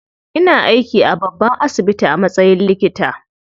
Ina aiki a babban asibiti a matsayin likita.